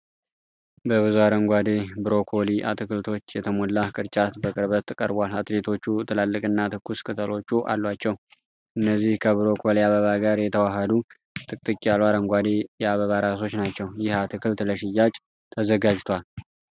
በብዙ አረንጓዴ ብሮኮሊ አትክልቶች የተሞላ ቅርጫት በቅርበት ቀርቧል። አትክልቶቹ ትላልቅና ትኩስ ቅጠሎች አሏቸው። እነዚህ ከብሮኮሊ አበባ ጋር የተዋሃዱ ጥቅጥቅ ያሉ አረንጓዴ የአበባ ራሶች ናቸው። ይህ አትክልት ለሽያጭ ተዘጋጅቷል።